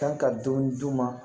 Kan ka dɔɔnin d'u ma